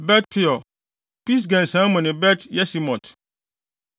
Bet-Peor, Pisga nsian mu ne Bet-Yesimot.